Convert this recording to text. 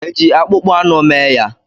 Eji akpụkpọ anụ mee ya?